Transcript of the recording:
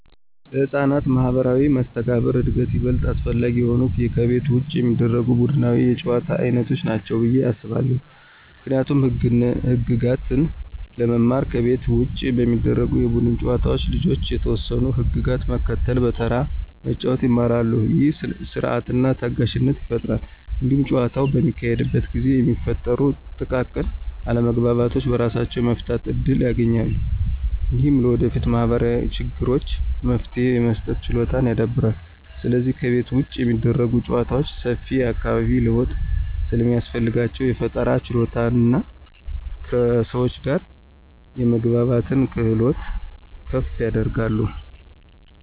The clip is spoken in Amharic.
ለሕፃናት ማኅበራዊ መስተጋብር እድገት ይበልጥ አስፈላጊ የሆኑት ከቤት ውጭ የሚደረጉ ቡድናዊ የጨዋታ ዓይነቶች ናቸው ብዬ አስባለሁ። ምክንያቱም ህግጋትን ለመማር ከቤት ውጭ በሚደረጉ የቡድን ጨዋታዎች ልጆች የተወሰኑ ህግጋትን መከተልና በተራ መጫወት ይማራሉ። ይህ ሥርዓትንና ታጋሽነትን ይፈጥራል። እንዲሁም ጨዋታው በሚካሄድበት ጊዜ የሚፈጠሩ ጥቃቅን አለመግባባቶችን በራሳቸው የመፍታት እድል ያገኛሉ። ይህም ለወደፊት ማኅበራዊ ችግሮች መፍትሄ የመስጠት ችሎታን ያዳብራል። ስለዚህ ከቤት ውጭ የሚደረጉ ጨዋታዎች ሰፊ የአካባቢ ለውጥ ስለሚያስፈልጋቸው፣ የፈጠራ ችሎታንና ከሰዎች ጋር የመግባባትን ክህሎት ከፍ ያደርጋሉ።